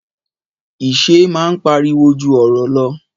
Ìṣe máa ń pariwo ju ọ̀rọ̀ lọ.